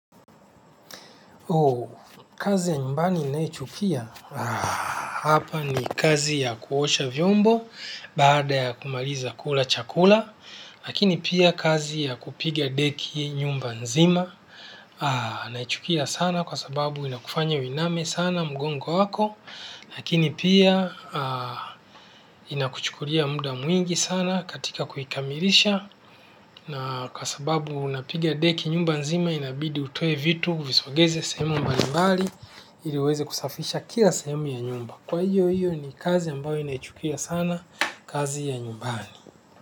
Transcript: Kazi ya nyumbani naichukia, hapa ni kazi ya kuosha vyombo baada ya kumaliza kula chakula. Lakini pia kazi ya kupiga deki nyumba nzima naichukia sana kwa sababu inakufanya uiname sana mgongo wako. Lakini pia inakuchukulia muda mwingi sana katika kuikamilisha. Na kwa sababu unapigia deki nyumba nzima inabidi utoe vitu uvisongeze sehemu mbali mbali iliweze kusafisha kila sehemu ya nyumba kwa hiyo hiyo ni kazi ambayo naichukia sana kazi ya nyumbani.